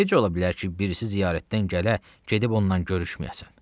Necə ola bilər ki, birisi ziyarətdən gələ, gedib ondan görüşməyəsən.